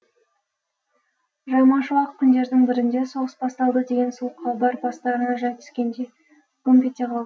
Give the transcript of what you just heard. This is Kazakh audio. жаймашуақ күндердің бірінде соғыс басталды деген суық хабар бастарына жай түскендей гүмп ете қалды